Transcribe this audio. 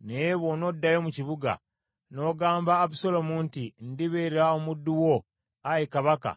Naye bw’onoddayo mu kibuga, n’ogamba Abusaalomu nti, ‘Ndibeera omuddu wo, ayi kabaka;